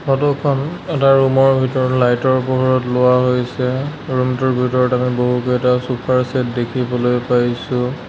Photo খন এটা room ৰ ভিতৰত লাইট ৰ পোহৰত লোৱা হৈছে ৰূম টোৰ ভিতৰত আমি বহুকেইটা চোফা ৰ ছেট দেখিবলৈ পাইছোঁ।